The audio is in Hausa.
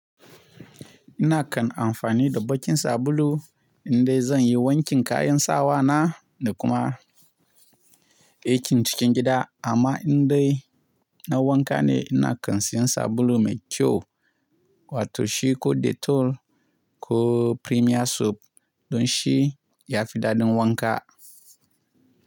Ina kan amfani da baƙin sabulu indai zan yi wankin kayan sawa na da kuma aikin cikin gida. Amma indai na wanka ne ina kan siyan sabulu mai kyau, wato shi ko Dettol ko Premier Soap don shi ya fi daɗin wanka.